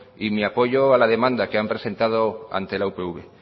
y mi apoyo a la demanda que han presentado ante la upv